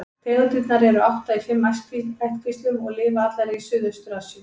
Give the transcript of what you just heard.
Tegundirnar eru átta í fimm ættkvíslum og lifa allar í Suðaustur-Asíu.